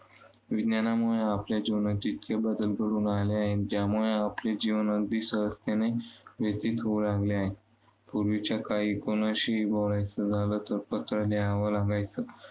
विज्ञानामुळे आपल्या जीवनात इतके बदल घडून आले आहेत, ज्यामुळे आपले जीवन अगदी सहजतेने व्यतित होऊ लागले आहे. पूर्वीच्या काळी कोणाशीही बोलायचे झाले तर पत्र लिहावं लागायचं.